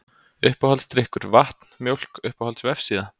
Uppáhaldsdrykkur: Vatn, Mjólk Uppáhalds vefsíða?